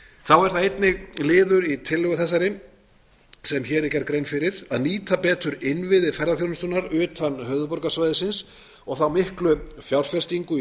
þá er það einnig liður í þeirri tillögu sem hér er gerð grein fyrir að nýta betur innviði ferðaþjónustunnar utan höfuðborgarsvæðisins og þá miklu fjárfestingu í